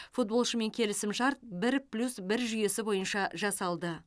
футболшымен келісімшарт бір плюс бір жүйесі бойынша жасалды